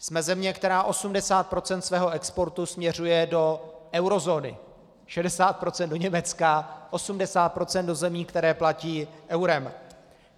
Jsme země, která 80 % svého exportu směřuje do eurozóny, 60 % do Německa, 80 % do zemí, které platí eurem.